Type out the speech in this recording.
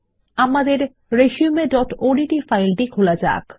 আমাদের resumeওডিটি ফাইল খোলা যাক